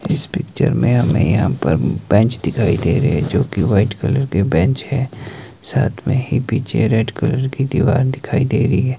इस पिक्चर में हमें यहाँ पर बेंच दिखाई दे रहे जो की व्हाइट कलर के बेंच हैं साथ में ही पीछे रेड कलर की दीवार दिखाई दे रही है।